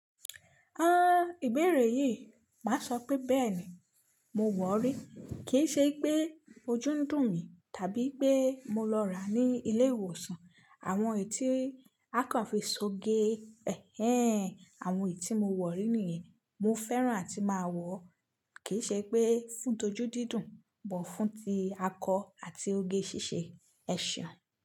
Ah! Ìbéèrè yìí, má sọ pé bẹ́ẹ̀ ni. Mo wọ̀rí, kì í ṣe pé ojú ń dùn mí tàbí pé mo lọ rà á ní ilé ìwòsàn. Àwọn ètí akàn fi so ge. Ẹhẹ́n! Àwọn ètí mo wọ̀rí nìyẹn, mo fẹ́ràn àti máa wọ̀. Kì í ṣe pé fún toju didùn, bọ̀fún ti akọ àti oge ṣíṣe ẹṣeun.